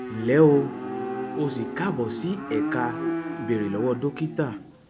nle o o si kaabo si eka beere lowo dokita